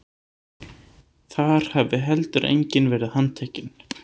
Þar hafi heldur enginn verið handtekinn